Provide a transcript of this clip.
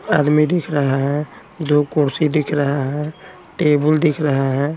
आदमी दिख रहा हैं दो कुर्सी दिख रहा हैं टेबल दिख रहा हैं।